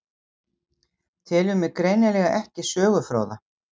Telur mig greinilega ekki sögufróða.